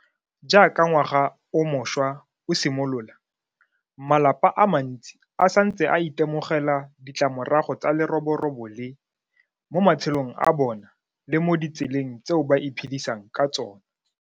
Jaaka ngwaga o mošwa o simolola, malapa a mantsi a santse a itemogela ditlamorago tsa leroborobo le mo matshelong a bona le mo ditseleng tseo ba iphedisang ka tsona.